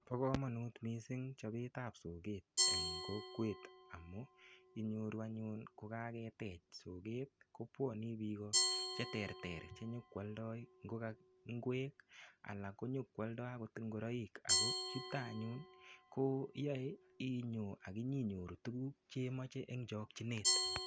Bo kamanut mising chobetab soget eng kokwet amu inyoru anyun ko kagetech soget, kopwane biik o cheterter che nyokwaldoi ingwek ala konyokwaldoi agot ingoroik ago chuto anyun koyae inyo aginyinyoru tuguk che moche eng chokchinet.